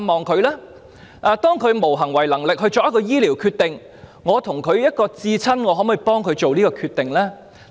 當伴侶無行為能力作出醫療決定時，身為至親者可否代其作出決定？